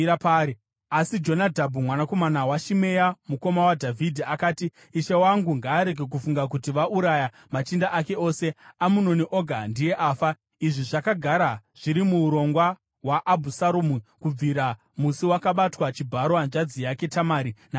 Asi Jonadhabhu mwanakomana waShimea, mukoma waDhavhidhi, akati, “Ishe wangu ngaarege kufunga kuti vauraya machinda ake ose; Amunoni oga ndiye afa. Izvi zvakagara zviri muurongwa hwaAbhusaromu kubvira musi wakabatwa chibharo hanzvadzi yake Tamari naAmunoni.